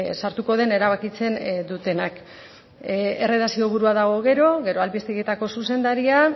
sartuko den erabakitzen dutenak erredakzio burua dago gero gero albistegietako zuzendaria